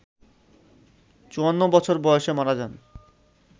৫৪ বছর বয়সে মারা যান